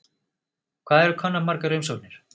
Hvað eru komnar margar umsóknir?